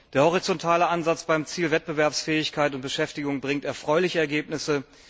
Der horizontale Ansatz beim Ziel Wettbewerbsfähigkeit und Beschäftigung bringt erfreuliche Ergebnisse.